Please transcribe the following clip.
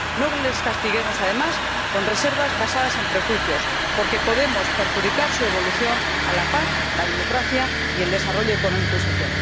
no les castiguemos, además, con reservas basadas en prejuicios, porque podemos perjudicar su evolución hacia la paz, la democracia y el desarrollo económico y social.